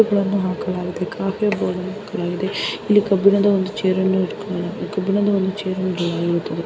ಒಂದು ಕಾಫಿ ಒಂದು tea coffee ಆಹ್ಹ್ ಕಾಫಿ ಕಬ್ಬಿಣದ ಚೆರ್ .